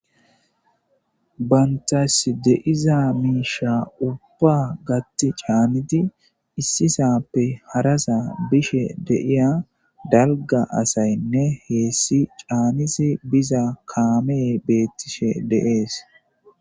bayntas deiza miisha ubba gatti caaniti issisappe harasa bishe deiya dalga asaynne heessi caanisi biza kaamee beettishe deees